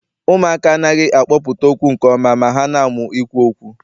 Ụmụaka anaghị akpọpụta okwu nke ọma ma ha na-amụ ikwu okwu.